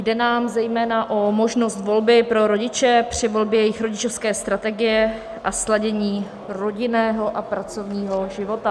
Jde nám zejména o možnost volby pro rodiče při volbě jejich rodičovské strategie a sladění rodinného a pracovního života.